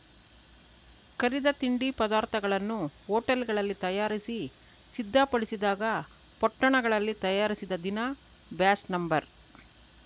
ಕರಿದ ತಿಂಡಿ ಪದಾರ್ಥಗಳನ್ನು ಹೋಟೆಲ್‌ಗಳಲ್ಲಿ ತಯಾರಿಸಿ ಸಿದ್ಧಪಡಿಸಿದಾಗ ಪೊಟ್ಟಣಗಳಲ್ಲಿ ತಯಾರಿಸಿದ ದಿನ ಬ್ಯಾಚ್‌ ನಂಬರ್‌